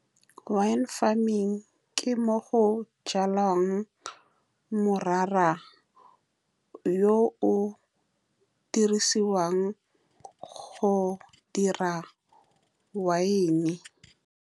Wine farming ke mo go jalwang morara, yo o dirisiwang go dira wine.